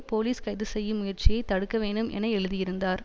police கைது செய்யும் முயற்சியை தடுக்கவேண்டும் என எழுதியிருந்தார்